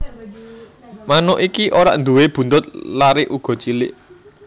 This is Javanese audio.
Manuk iki ora nduwé buntut lare uga cilik